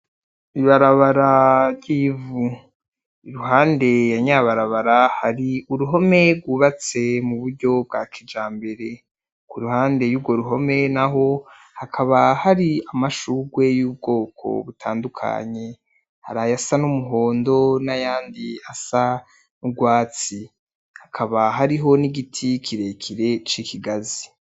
Ibarabara ryivu, iruhande yanyabarabara haruruhome rwubatse muburyo bwa kijambere kuruhande yurwo ruhome naho hakaba hari amashurwe yubwoko butandukanye, hakaba hariho nivyatsi nubwoko bwikigazi.